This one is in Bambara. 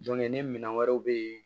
ni minɛn wɛrɛw bɛ yen